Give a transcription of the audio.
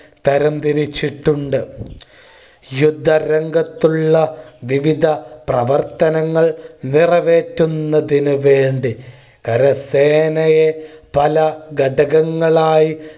തരം തിരിച്ചിട്ടുണ്ട്. യുദ്ധ രംഗത്തുള്ള വിവിധ പ്രവർത്തനങ്ങൾ നിറവേറ്റുന്നതിന് വേണ്ടി കരസേനയെ പല ഘടകങ്ങളായി